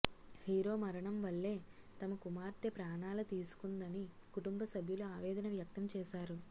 hero మరణం వల్లే తమ కుమార్తె ప్రాణాల తీసుకుందని కుటుంబ సభ్యులు ఆవేదన వ్యక్తం చేశారు